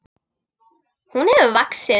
Hún hefur vaxið.